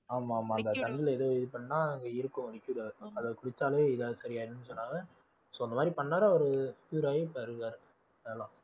ஆமா ஆமா அந்த தண்ணியில ஏதோ இது பண்ணா அங்க இருக்கும் அதை குடிச்சாலே எதாவது சரியாயிடும்னு சொன்னாங்க so அந்த மாதிரி பண்ணாரு அவரு cure ஆயி இப்ப இருக்காரு